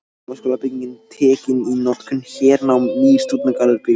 Háskólabyggingin tekin í notkun- Hernám- Nýr stúdentagarður byggður